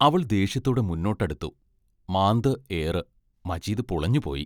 അവൾ ദേഷ്യത്തോടെ മുന്നോട്ടടുത്തു.മാന്ത് ഏറ് മജീദ് പുളഞ്ഞുപോയി.